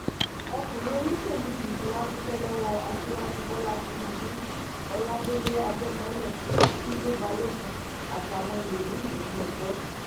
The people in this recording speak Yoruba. ọkunrin oloṣelu yii ti wa dupẹ lọwọ Aṣiwaju Bola Tinubu, Oladele Ajamọlẹ, Tunde Balogun atawọn ẹlomii ninu ẹgbẹ